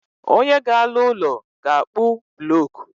Onye ga alụ úlọ, ga-akpu bulocku